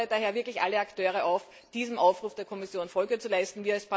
Ich fordere daher wirklich alle Akteure auf, diesem Aufruf der Kommission Folge zu leisten.